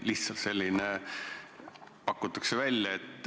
Lihtsalt selline pakutakse välja.